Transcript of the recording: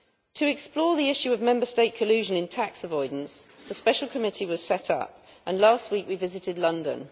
To explore the issue of Member State collusion in tax avoidance, a special committee was set up, and last week we visited London.